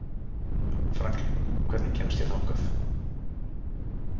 Franklín, hvernig kemst ég þangað?